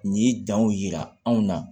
Nin ye danw yira anw na